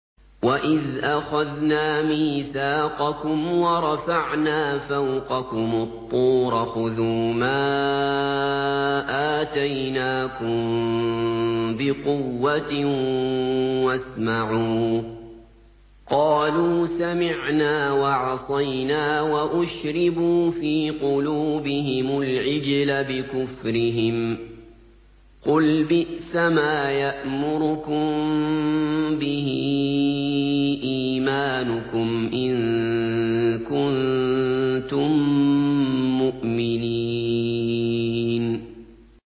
وَإِذْ أَخَذْنَا مِيثَاقَكُمْ وَرَفَعْنَا فَوْقَكُمُ الطُّورَ خُذُوا مَا آتَيْنَاكُم بِقُوَّةٍ وَاسْمَعُوا ۖ قَالُوا سَمِعْنَا وَعَصَيْنَا وَأُشْرِبُوا فِي قُلُوبِهِمُ الْعِجْلَ بِكُفْرِهِمْ ۚ قُلْ بِئْسَمَا يَأْمُرُكُم بِهِ إِيمَانُكُمْ إِن كُنتُم مُّؤْمِنِينَ